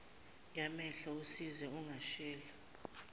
yamehlo usize ungatsheli